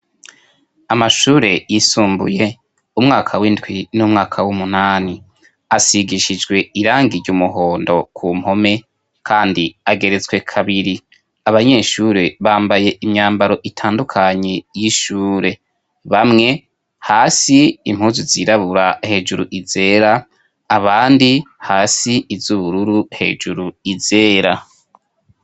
amashure yisumbuye umwaka w'indwi n'umwaka w'umunani asigishijwe irangiye ryumuhondo ku mpome kandi ageretswe kabiri abanyeshuri bambaye imyambaro itandukanye y'ishure bamwe hasi impuzu zirabura hejuru izera abandi hasi izubururu hejuru izera